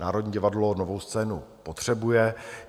Národní divadlo Novou scénu potřebuje.